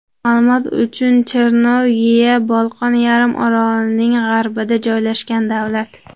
Ma’lumot uchun, Chernogoriya Bolqon yarim orolining g‘arbida joylashgan davlat.